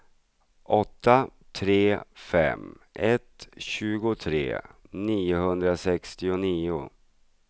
åtta tre fem ett tjugotre niohundrasextionio